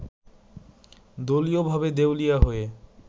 দলীয়ভাবে দেউলিয়া হয়ে